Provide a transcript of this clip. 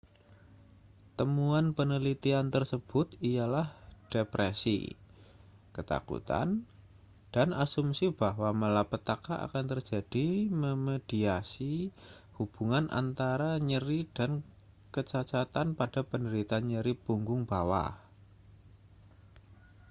temuan penelitian tersebut ialah depresi ketakutan dan asumsi bahwa malapetaka akan terjadi memediasi hubungan antara nyeri dan kecacatan pada penderita nyeri punggung bawah